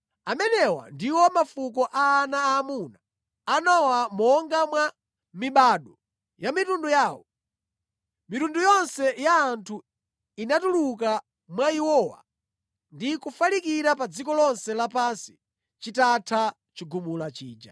Amenewa ndiwo mafuko a ana aamuna a Nowa monga mwa mibado ya mitundu yawo. Mitundu yonse ya anthu inatuluka mwa iwowa ndi kufalikira pa dziko lonse lapansi chitatha chigumula chija.